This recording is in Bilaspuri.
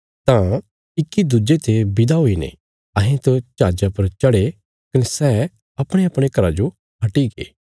तां इक्की दुज्जे ते विदा हुईने अहें त जहाजा पर चढ़े कने सै अपणेअपणे घराँ जो हट्टीगे